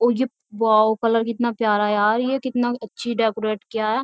ये wow colour कितना प्यारा है। यार ये कितना अच्छी डेकोरेट किया है।